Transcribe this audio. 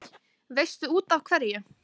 Veistu útaf hverju?